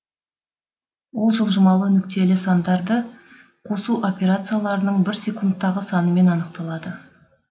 ол жылжымалы нүктелі сандарды қосу операцияларының бір секундтағы санымен анықталады